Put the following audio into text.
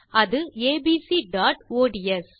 அது abcஒட்ஸ்